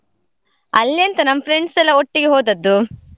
ಅಲ್ಲಿ ಎಂತ ನಮ್ friends ಎಲ್ಲ ಒಟ್ಟಿಗೆ ಹೋದದ್ದು.